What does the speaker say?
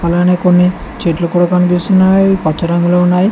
అలానే కొన్ని చెట్లు కూడా కనిపిస్తున్నాయి పచ్చ రంగులో ఉన్నాయి.